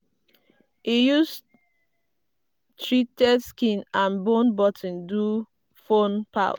e use um treated skin and bone button do phone pouch.